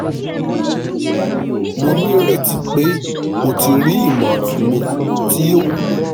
mo nireti pe o ti ri imọran mi ti o wulo